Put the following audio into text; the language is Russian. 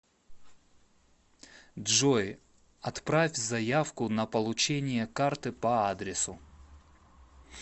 джой отправь заявку на получение карты по адресу